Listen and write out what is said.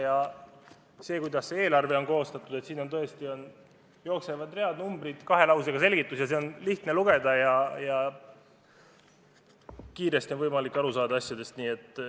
Vaadake, kuidas eelarve on koostatud: siin tõesti read ja numbrid jooksevad, kahe lausega on selgitus, seda on lihtne lugeda ja on võimalik asjadest kiiresti aru saada.